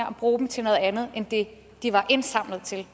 og bruge dem til noget andet end det de var indsamlet til